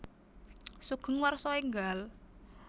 Sugeng Warsa Enggal